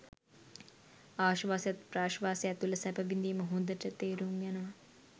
ආශ්වාසයත් ප්‍රශ්වාසයත් තුළ සැප විඳීම හොඳට තේරුම් යනවා.